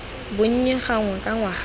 bonnye gangwe ka ngwaga fa